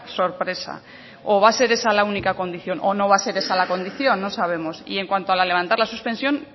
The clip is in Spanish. sorpresa o va a ser esa la única condición o no va a ser esa la condición no sabemos y en cuanto a levantar la suspensión